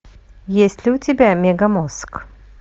есть ли у тебя мегамозг